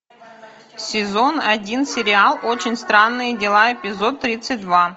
сезон один сериал очень странные дела эпизод тридцать два